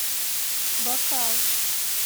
бакал